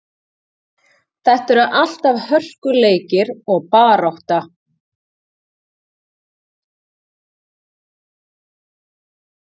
Þetta eru alltaf hörkuleikir og barátta.